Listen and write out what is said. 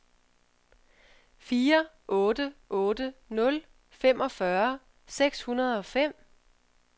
fire otte otte nul femogfyrre seks hundrede og fem